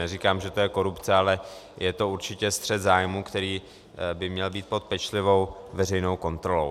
Neříkám, že to je korupce, ale je to určitě střet zájmů, který by měl být pod pečlivou veřejnou kontrolou.